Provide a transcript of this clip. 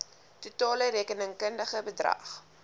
totale rekenkundige bedrag